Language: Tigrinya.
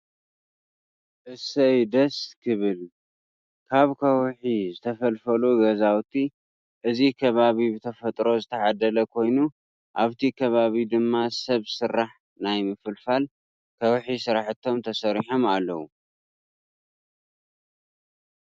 እሰይ ደስ ክብል! ካብ ከውሒዝተፈልፈሉ ገዛውቲ እዚ ከባቢ ብተፈጥሮ ዝተዓደለ ኮይኑ ኣብቲ ከባቢ ድማ ሰብ ስራሕ ናይ ምፍልፋል ከውሒ ስራሕቲ ተሰሪሖም ኣለው።